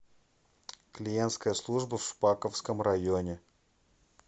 клиентская служба в шпаковском районе